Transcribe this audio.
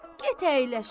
Get əyləş.